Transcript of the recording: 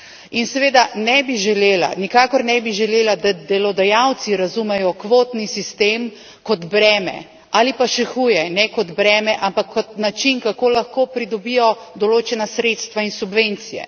In seveda ne bi želela, nikakor ne bi želela, da delodajalci razumejo kvotni sistem kot breme, ali pa še huje, ne kot breme, ampak kot način, kako lahko pridobijo določena sredstva in subvencije.